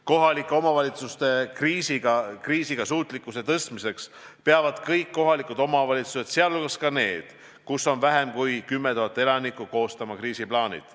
Kohalike omavalitsuste kriisiga toimetuleku tõstmiseks peavad kõik KOV-id, sh need, kus vähem kui 10 000 elanikku, koostama kriisiplaanid.